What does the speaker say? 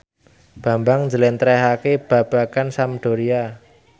Bambang njlentrehake babagan Sampdoria